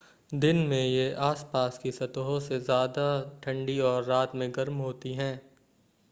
दिन में ये आस-पास की सतहों से ज़्यादा ठंडी और रात में गर्म होती हैं